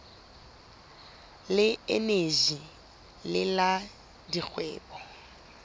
le eneji le la dikgwebo